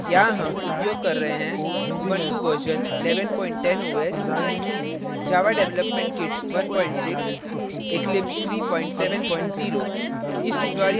यहाँ हम उपयोग कर रहे हैं